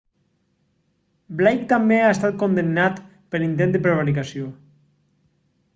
blake també ha estat condemnat per intent de prevaricació